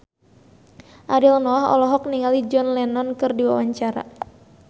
Ariel Noah olohok ningali John Lennon keur diwawancara